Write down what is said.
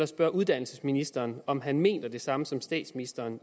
spørge uddannelsesministeren om han mener det samme som statsministeren